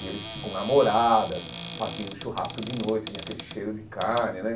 E eles, com namoradas, faziam churrasco de noite, vinha aquele cheiro de carne, né?